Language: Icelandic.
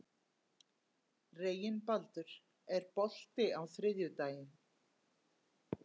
Reginbaldur, er bolti á þriðjudaginn?